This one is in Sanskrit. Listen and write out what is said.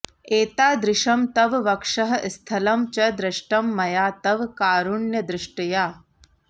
एतादृशं तव वक्षः स्थलं च दृष्टं मया तव कारुण्यदृष्ट्या